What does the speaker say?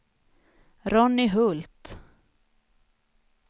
Ronny Hult